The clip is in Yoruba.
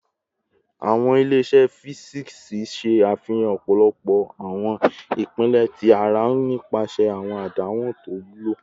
Awọn ile-iṣẹ fisiksi ṣe afihan ọpọlọpọ awọn ipilẹ ti ara nipasẹ awọn adanwo to wulo